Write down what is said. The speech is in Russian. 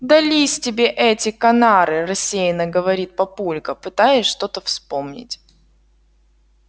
дались тебе эти канары рассеянно говорит папулька пытаясь что-то вспомнить